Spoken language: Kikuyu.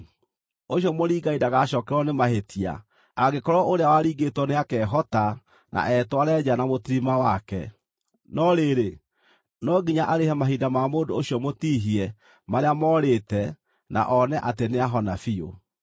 ũcio mũringani ndagacookererwo nĩ mahĩtia angĩkorwo ũrĩa waringĩtwo nĩakehota na etware nja na mũtirima wake. No rĩrĩ, no nginya arĩhe mahinda ma mũndũ ũcio mũtihie marĩa morĩte na one atĩ nĩahona biũ.